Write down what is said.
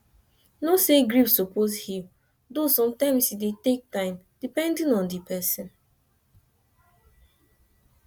know say grief suppose heal though sometimes e dey take time depedning on di person